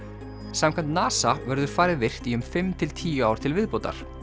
samkvæmt NASA verður farið virkt í um fimm til tíu ár til viðbótar